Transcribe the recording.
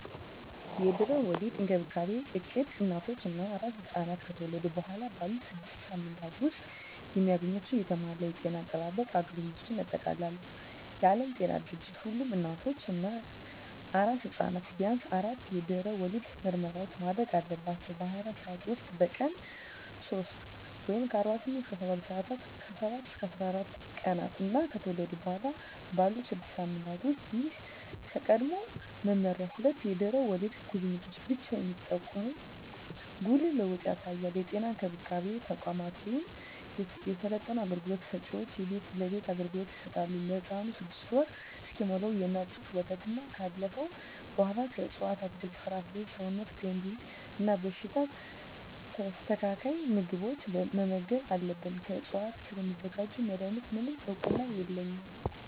የድህረ ወሊድ እንክብካቤ እቅድ እናቶች እና አራስ ሕፃናት ከተወለዱ በኋላ ባሉት ስድስት ሳምንታት ውስጥ የሚያገኟቸውን የተሟላ የጤና አጠባበቅ አገልግሎቶችን ያጠቃልላል። የዓለም ጤና ድርጅት ሁሉም እናቶች እና አራስ ሕፃናት ቢያንስ አራት የድህረ ወሊድ ምርመራዎችን ማድረግ አለባቸው - በ24 ሰዓት ውስጥ፣ በቀን 3 (48-72 ሰአታት)፣ ከ7-14 ቀናት እና ከተወለዱ በኋላ ባሉት 6 ሳምንታት ውስጥ። ይህ ከቀድሞው መመሪያ ሁለት የድህረ ወሊድ ጉብኝቶችን ብቻ የሚጠቁም ጉልህ ለውጥ ያሳያል። የጤና እንክብካቤ ተቋማት ወይም የሰለጠኑ አገልግሎት ሰጭዎች የቤት ለቤት አገልግሎት ይሰጣሉ። ለህፃኑም 6ወር እስኪሞላው የእናት ጡት ወተትና ካለፈው በኃላ ከእፅዋት አትክልት፣ ፍራፍሬ ሰውነት ገንቢ እና በሽታ ተከላካይ ምግቦችን መመገብ አለብን። ከዕፅዋት ስለሚዘጋጁ መድኃኒቶች፣ ምንም እውቅና የለኝም።